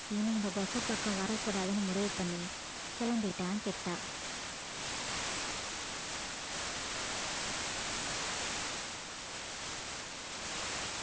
இனி இந்த திசை பக்கம் வரக்கூடாதுன்னு முடிவு பண்ணி கிளம்பிட்டான் கிட்டா